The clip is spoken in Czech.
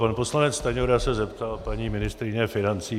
Pan poslanec Stanjura se zeptal paní ministryně financí.